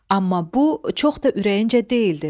Amma bu çox da ürəyincə deyildi.